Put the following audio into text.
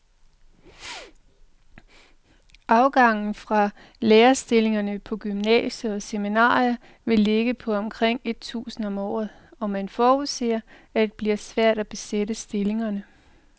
Afgangen fra lærerstillingerne på gymnasier og seminarier vil ligge på omkring et tusind om året, og man forudser, at det bliver svært at besætte stillingerne.